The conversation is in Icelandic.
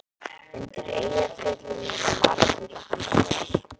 Undir Eyjafjöllum eru margir fossar.